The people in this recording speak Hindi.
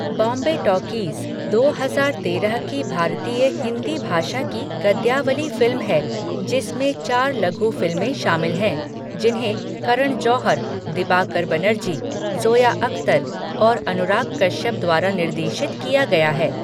बॉम्बे टॉकीज़ दो हजार तेरह की भारतीय हिंदी भाषा की गद्यावली फ़िल्म है, जिसमें चार लघु फ़िल्में शामिल हैं, जिन्हें करण जौहर, दिबाकर बनर्जी, ज़ोया अख्तर और अनुराग कश्यप द्वारा निर्देशित किया गया है।